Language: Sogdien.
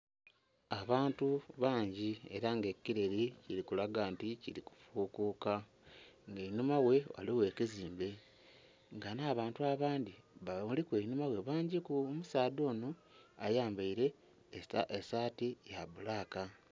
Abantu bangi era nga ekireri kirikukaga nti kiri kufukuka nga einhuma ghe ghaligho ekizimbe nga nh'abantu abandhi babaliku einhuma bangiku omusaadha onho ayambeire esaati yabbulaka.